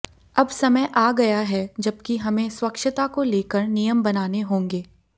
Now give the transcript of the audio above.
अब समय आ गया है जबकि हमें स्वच्छता को लेकर नियम बनाने होंगे